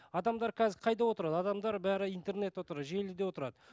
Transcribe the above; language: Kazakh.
адамдар қазір қайда отырады адамдар бәрі интернетте отырады желіде отырады